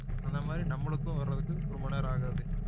அந்த மாதிரி நம்மளுக்கும் வர்றதுக்கு ரொம்ப நேரம் ஆகாது